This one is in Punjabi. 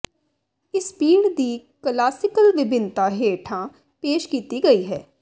ਇਸ ਪੀਣ ਦੀ ਕਲਾਸੀਕਲ ਵਿਭਿੰਨਤਾ ਹੇਠਾਂ ਪੇਸ਼ ਕੀਤੀ ਗਈ ਹੈ